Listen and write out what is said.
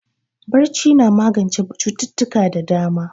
Barci na magance cututtuka da dama